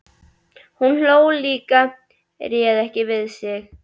Hún hló líka, réð ekki við sig.